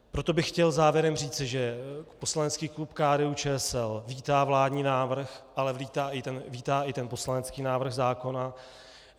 Proto bych chtěl závěrem říct, že poslanecký klub KDU-ČSL vítá vládní návrh, ale vítá i ten poslanecký návrh zákona.